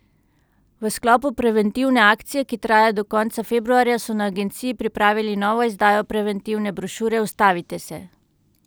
V sklopu preventivne akcije, ki traja do konca februarja, so na agenciji pripravili novo izdajo preventivne brošure Ustavite se!